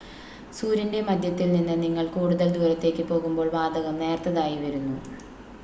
സൂര്യൻ്റെ മധ്യത്തിൽ നിന്ന് നിങ്ങൾ കൂടുതൽ ദൂരത്തേക്ക് പോകുമ്പോൾ വാതകം നേർത്തതായി വരുന്നു